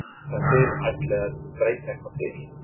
Mér skilst að þið ætlið að breyta eitthvað til?